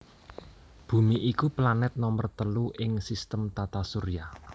Bumi iku planet nomer telu ing sistem tata surya